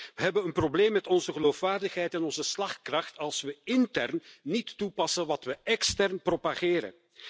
We hebben een probleem met onze geloofwaardigheid en onze slagkracht, als we intern niet toepassen wat we extern propageren.